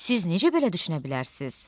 Siz necə belə düşünə bilərsiniz?